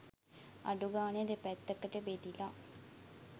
අඩු ගානේ දෙපැත්තකට බෙදිලා